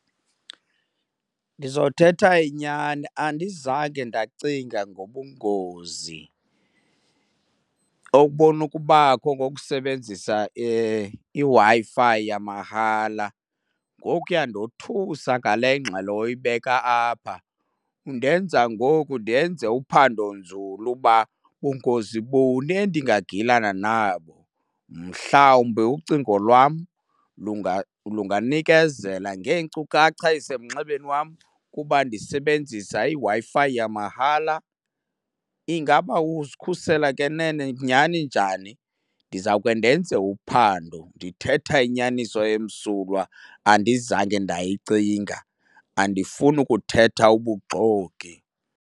Ndizothetha inyani, andizange ndacinga ngobungozi okubona ukubakho ngokusebenzisa iWi-Fi yamahala. Ngoku uyandothusa ngale ngxelo oyibeka apha. undenza ngoku ndenze uphandonzulu ukuba bungozi buni endingagilana nabo. Mhlawumbe ucingo lwam lunganikezela ngeenkcukacha eziseminxebeni wam kuba ndisebenzisa iWi-Fi yamahala? Ingaba uzikhusela ke nene nyhani njani? Ndizawuke ndenze uphando. Ndithetha inyaniso emsulwa, andizange ndayicinga andifuni kuthetha ubuxoki.